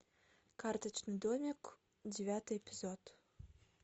карточный домик девятый эпизод